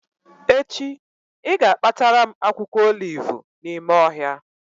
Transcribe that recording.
Echi ị ga-akpatara m akwụkwọ olivu n'ime ohịa